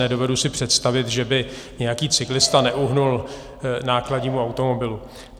Nedovedu si představit, že by nějaký cyklista neuhnul nákladnímu automobilu.